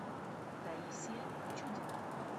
таисия чудина